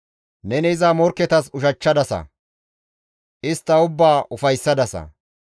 Neni iza morkketas ushachchadasa; istta ubbaa ufayssadasa.